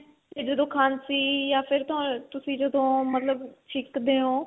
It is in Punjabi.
ਤੇ ਜਦੋਂ ਖਾਂਸੀ ਜਾ ਫ਼ਿਰ ਤੁਸੀਂ ਮਤਲਬ ਜਦੋਂ ਛਿੱਕਦੇ ਓ